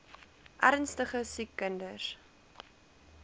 ernstige siek kinders